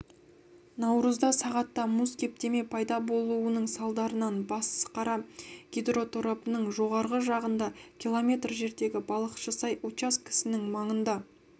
наурызда сағатта мұз кептеме пайда болуының салдарынан басықара гидроторабының жоғарғы жағында км жердегі балықшысай учаскесінің маңында